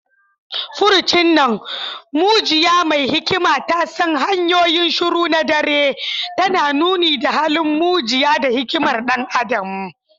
Furcin nan “mujiya mai hikima ta san hanyoyin shiru na dare” tana nuni da halin mujiya da hikimar ɗan adam.